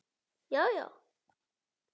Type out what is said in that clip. Já já!